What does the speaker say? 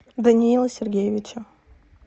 даниила сергеевича